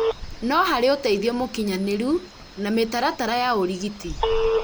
no harĩ ũtithio mũkinyanĩru na mĩtaratara ya ũrigiti